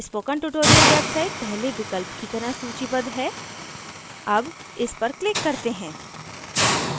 spoken tutorial website पहले विकल्प की तरह सूचीबद्ध है अब इस पर click करते हैं